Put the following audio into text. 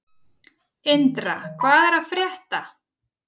Indra, hvað er að frétta?